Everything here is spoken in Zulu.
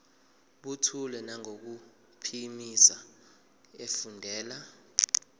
buthule nangokuphimisa efundela